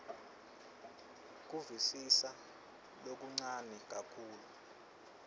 kuvisisa lokuncane kakhulu